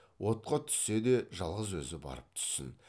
отқа түссе де жалғыз өзі барып түссін